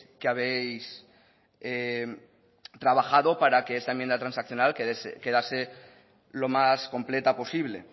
que habéis trabajado para que esta enmienda transaccional quedase lo más completa posible